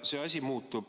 See asi muutub,